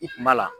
I kun b'a la